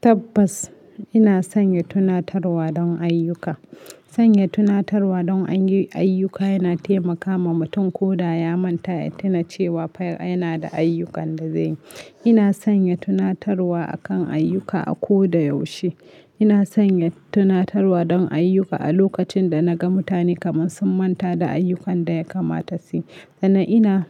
Tabbas ina sanya tunatarwa don ayyuka. Sanya tunatarwa don ayyuka yana taimaka ma mutum ko da ya manta ya tuna cewa fa yana da ayyukan da zai yi. Ina sanya tunatarwa akan ayyuka a ko da yaushe. Ina sanya tunatarwa don ayyuka a lokacin da naga mutane kaman sun manta da ayyukan da ya kamata su yi. Sannan ina